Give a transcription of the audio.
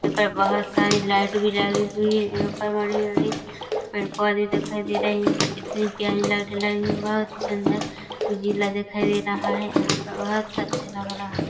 यहाँ पर बहुत सारी लाइटें भी डली हुई हैं यहाँ पर हरे हरे पेड पौधे दिखाई दे रहे हैं यहाँ पे इतनी प्यारी लाइटें लगी हुई हैं बहुत ही सुंदर उजिला दिखाई दे रहा हैं यहाँ पर बहुत अच्छा लग रहा है।